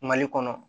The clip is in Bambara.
Mali kɔnɔ